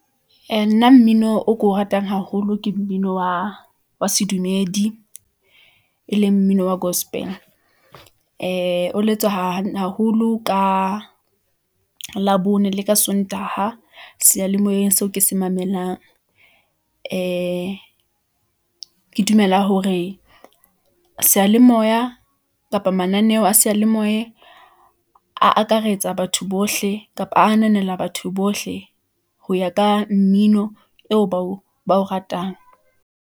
Ee, nna mmino o ko o ratang haholo, ke mmino wa sedumedi , e leng mmino wa gospel , ee o letswa haholo ka labone le ka sontaha , seyalemoyeng seo ke se mamelang . Ee ke dumela hore sealemoya kapa mananeo a seyalemoye , akaretsa batho bohle, kapa ananela batho bohle , ho ya ka mmino eo ba o ratang.